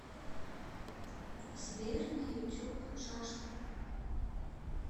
сбер на ютуб жажда